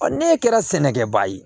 ne kɛra sɛnɛkɛbaa ye